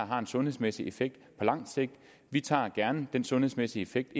har en sundhedsmæssig effekt på langt sigt vi tager gerne den sundhedsmæssige effekt